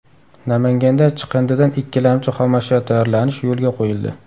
Namanganda chiqindidan ikkilamchi xomashyo tayyorlanish yo‘lga qo‘yildi.